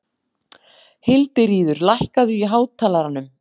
Hildiríður, lækkaðu í hátalaranum.